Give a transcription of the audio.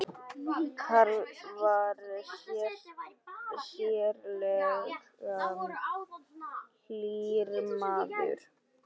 Karl var sérlega hlýr maður.